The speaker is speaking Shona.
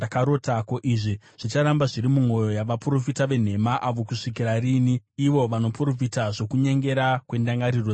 Ko, izvi zvicharamba zviri mumwoyo yavaprofita venhema ava kusvikira rinhi ivo vanoprofita zvokunyengera kwendangariro dzavo?